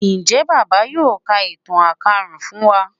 njé bàbá yóò ká ìtàn àkàsùn fún wá?